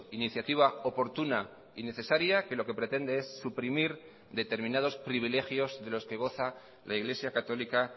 iniciativa oportuna y necesaria que lo que pretende es suprimir determinados privilegios de los que goza la iglesia católica